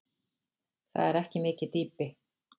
Það er ekki mikið dýpi.